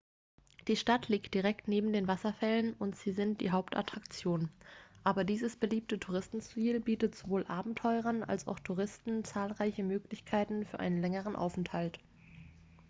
die stadt liegt direkt neben den wasserfällen und sie sind die hauptattraktion aber dieses beliebte touristenziel bietet sowohl abenteurern als auch touristen zahlreiche möglichkeiten für einen längeren aufenthalt